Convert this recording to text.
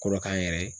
Kolo k'an yɛrɛ ye